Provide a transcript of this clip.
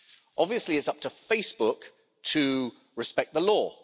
Obviously, it's up to Facebook to respect the law.